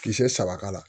Kisɛ saba k'a la